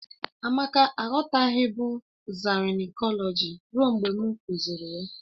Amake aghọtaghịbụ zarinkọlọji ruo mgbe m kuziri ya